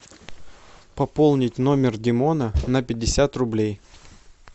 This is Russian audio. пополнить номер димона на пятьдесят рублей